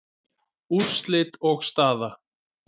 Úrslit og staða